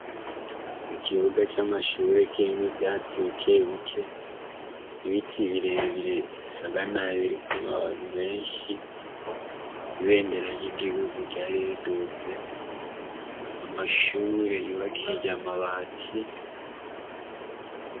Ikibuga c'amashure kirimwo ivyatsi bikebike, ibiti birebire bisaga biriko amababi menshi, ibendera ry'Igihugu ryari riduze, amashure yubakishije amabati.